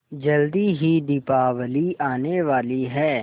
जल्दी ही दीपावली आने वाली है